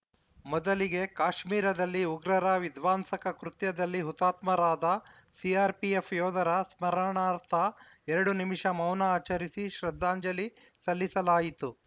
ಮೊದಲಿಗೆ ಕಾಶ್ಮೀರದಲ್ಲಿ ಉಗ್ರರ ವಿಧ್ವಂಸಕ ಕೃತ್ಯದಲ್ಲಿ ಹುತಾತ್ಮರಾದ ಸಿಆರ್‌ಪಿಎಫ್‌ ಯೋಧರ ಸ್ಮರಣಾರ್ಥ ಎರಡು ನಿಮಿಷ ಮೌನ ಆಚರಿಸಿ ಶ್ರದ್ಧಾಂಜಲಿ ಸಲ್ಲಿಸಲಾಯಿತು